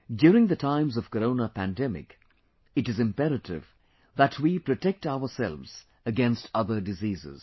During the times of Corona pandemic, it is imperative that we protect ourselves against other diseases